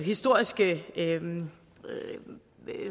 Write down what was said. historiske levn